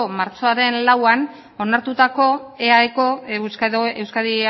martxoaren lauan onartutako eaeko euskadi